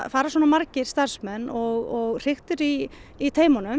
fara svona margir starfsmenn og hriktir í í